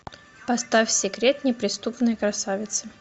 поставь секрет неприступной красавицы